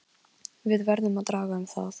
Við verðum að draga um það.